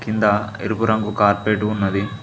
కింద ఎరుపు రంగు కార్పేట్ ఉన్నది.